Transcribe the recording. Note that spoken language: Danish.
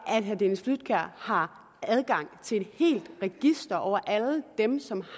herre dennis flydtkjær har adgang til et helt register over alle dem som